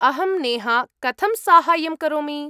अहं नेहा, कथं साहाय्यं करोमि?